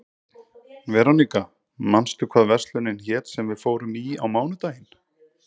Veróníka, manstu hvað verslunin hét sem við fórum í á mánudaginn?